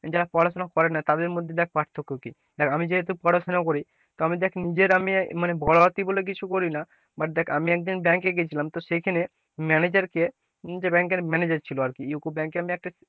যারা পড়াশোনা করে না তাদের মধ্যে দেখ পার্থক্য কি আমি যেহেতু পড়াশোনা করি তো আমি দেখ নিজের আমি কিছু করি না, but দেখ আমি একদিন ব্যাংকে গেছিলাম সেইখানে manager কে যে bank এর manager ছিল আর কি UCO bank এ আমি একটা,